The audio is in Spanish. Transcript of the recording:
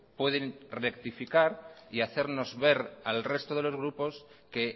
pueden rectificar y hacernos ver al resto de los grupos que